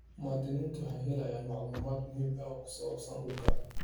Muwaadiniintu waxay helayaan macluumaad muhiim ah oo ku saabsan dhulka.